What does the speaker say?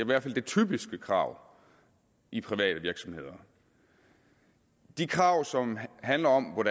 hvert fald det typiske krav i private virksomheder de krav som handler om hvad